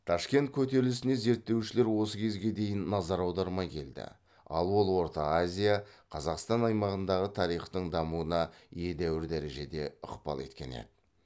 ташкент көтерілісіне зерттеушілер осы кезге дейін назар аудармай келді ал ол орта азия қазақстан аймағындағы тарихтың дамуына едәуір дәрежеде ықпал еткен еді